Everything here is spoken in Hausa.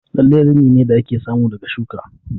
Lalle rini ne da ake samu daga shuka